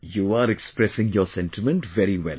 You are expressing your sentiment very well